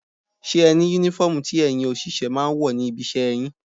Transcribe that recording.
Ṣé ẹni Únífọ́ọ̀mù tí ẹ̀yin òṣìṣẹ́ máa ń wọ̀ ní ibi iṣẹ́ yín?